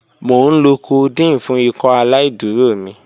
Mo nlo codeine fun Ikọaláìdúró mi.